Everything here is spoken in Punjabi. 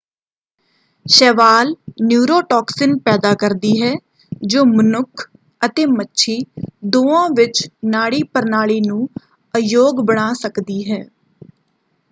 ਸ਼ੈਵਾਲ ਨਿਊਰੋਟਾਕਸਿਨ ਪੈਦਾ ਕਰਦੀ ਹੈ ਜੋ ਮਨੁੱਖ ਅਤੇ ਮੱਛੀ ਦੋਵਾਂ ਵਿੱਚ ਨਾੜੀ ਪ੍ਰਣਾਲੀ ਨੂੰ ਅਯੋਗ ਬਣਾ ਸਕਦੀ ਹੈ।